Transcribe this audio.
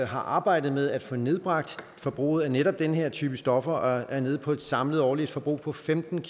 har arbejdet med at få nedbragt forbruget af netop den her type stoffer og er nede på et samlet årligt forbrug på femten